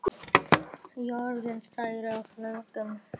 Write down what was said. Jörðin, stærð og lögun